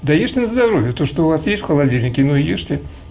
да ешь на здоровье то что у вас есть в холодильнике ну и ешьте